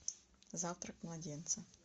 завтрак младенца